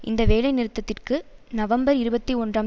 இந்த வேலைநிறுத்தத்திற்கு நவம்பர் இருபத்தி ஒன்றாம்